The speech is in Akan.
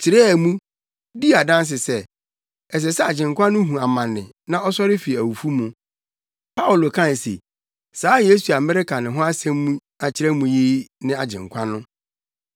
kyerɛɛ mu, dii adanse sɛ, ɛsɛ sɛ Agyenkwa no hu amane na ɔsɔre fi awufo mu. Paulo kae se, “Saa Yesu a mereka ne ho asɛm akyerɛ mo yi ne Agyenkwa no.”